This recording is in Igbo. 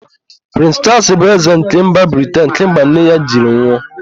Prịns Chaals bụzi ézē nke mba Briten kemgbe nne ya jiri nwụ.